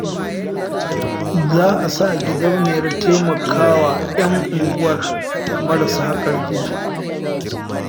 Za a sa gidauniyar taimaka wa 'yan unguwar marasa ƙarfi